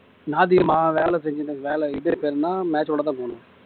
ஞாயிற்றுக்கிழமை வேலை வேலை செஞ்சினு வேலை இது பேர் என்ன match விளையாட தான் போனேன்